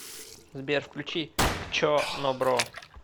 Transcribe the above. сбер включи хчо но бро